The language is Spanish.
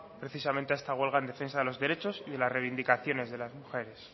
precisamente a esta huelga en defensa de los derechos y de las reivindicaciones de las mujeres